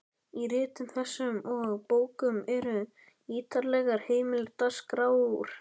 Í ritum þessum og bókum eru ýtarlegar heimildaskrár.